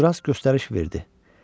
Uzundraz göstəriş verdi: